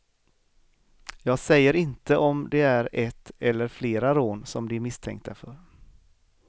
Jag säger inte om det är ett eller flera rån som de är misstänkta för.